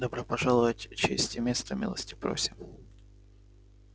добро пожаловать честь и место милости просим